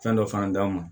Fɛn dɔ fana d'anw ma